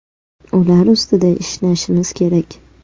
Ular ustida ishlashimiz kerak.